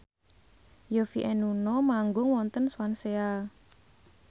Yovie and Nuno manggung wonten Swansea